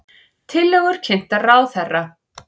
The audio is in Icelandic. Tillögur kynntar ráðherra